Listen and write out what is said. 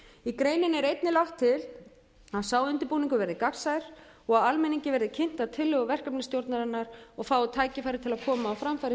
í greininni er einnig lagt til að sá undirbúningur verði gagnsær og að almenningi verði kynntar tillögur verkefnisstjórnarinnar og fái tækifæri til að koma á framfæri